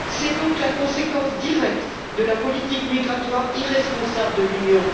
C'est la conséquence directe de la politique migratoire irresponsable de l'Union.